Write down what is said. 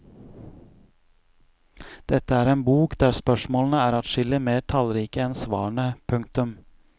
Dette er en bok der spørsmålene er adskillig mer tallrike enn svarene. punktum